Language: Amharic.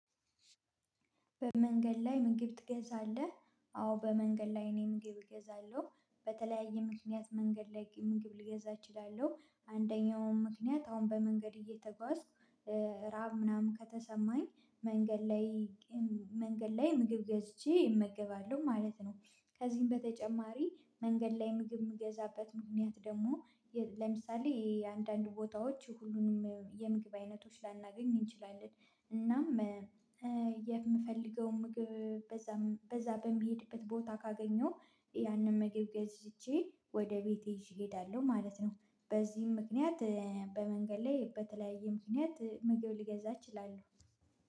በመንገድ ላይ ምግብ ትገዛለህ? አዎ በመንገድ ላይ እኔ ምግብ እገዛለሁ በተለያየ ምክንያት መንገድ ላይ ምግብ ልገዛ እችላለሁ። አንደኛውም ምክንያት አሁን በመንገድ እየተጓዝኩ ራብ ምናምን ከተሰማኝ መንገድ ላይ መንገድ ላይ ምግብ ገዝቼ እመገባለሁ ማለት ነው። ከዚህም በተጨማሪ መንገድ ላይ ምግብ የምገዛበት ምክንያት ደግሞ ለምሳሌ የአንዳንድ ቦታዎች ሁሉንም የምግብ አይነቶች ላናገኝ እንችላለን። እናም የምፈልገው ምግብ በዛ በዛ በሚሄድበት ቦታ ካገኘው። ያንን ምግብ ገዝቼ ወደ ቤቴ እሄዳለሁ ማለት ነው። በዚህም ምክንያት በመንገድ ላይ በተለያየ ምክንያት ምግብ ልገዛ እችላለሁ